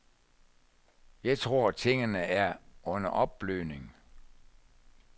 Jeg tror, tingene er under opblødning.